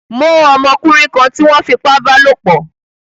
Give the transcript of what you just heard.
Mó ọmọkúnrin kan tí wón fipá bálòpò